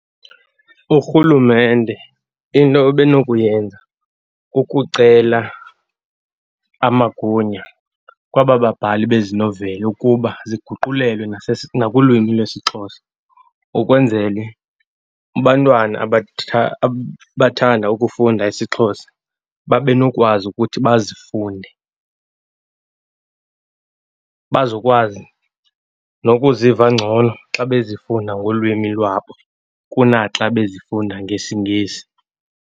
Urhulumente into ebe nokuyenza kukucela amagunya kwaba babhali bezi noveli ukuba ziguqulelwe nakulwimi lwesiXhosa, ukwenzela bantwana abathanda ukufunda isiXhosa, babe nokwazi ukuthi bazifunde, bazokwazi nokuziva ngcono xa bezifunda ngolwimi lwabo kunaxa bezifunda ngesiNgesi.